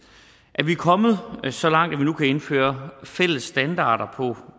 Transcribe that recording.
at vi er kommet så langt at vi nu kan indføre fælles standarder på